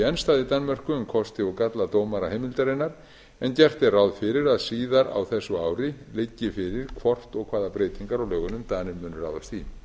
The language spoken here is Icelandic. í danmörku um kosti og galla dómaraheimildarinnar en gert er ráð fyrir að síðar á þessu ári liggi fyrir hvort og hvaða breytingar á lögunum danir munu ráðast